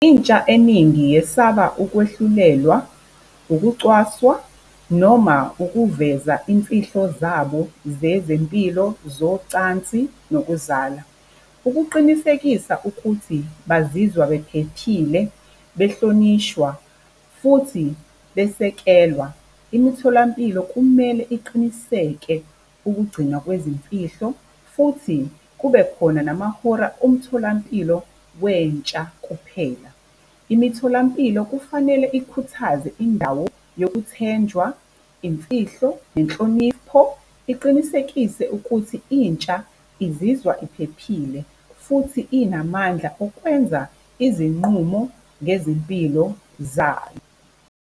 Intsha eningi yesaba ukwehlulelwa, ukucwaswa noma ukuveza imfihlo zabo zezempilo zocansi nokuzala. Ukuqinisekisa ukuthi bazizwa bephephile, behlonishwa, futhi besekelwa, imitholampilo, kumele iqiniseke ukugcinwa kwezimfihlo futhi kubekhona namahora omtholampilo wentsha kuphela. Imitholampilo kufanele ikhuthaze indawo yokuthenjwa imfihlo, nenhlonipho, iqinisekise ukuthi intsha izizwa iphephile futhi inamandla okwenza izinqumo ngezimpilo zayo.